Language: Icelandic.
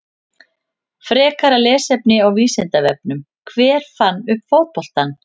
Frekara lesefni á Vísindavefnum: Hver fann upp fótboltann?